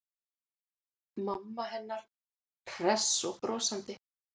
Mamma hennar hress og brosandi.